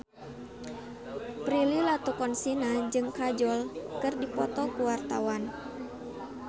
Prilly Latuconsina jeung Kajol keur dipoto ku wartawan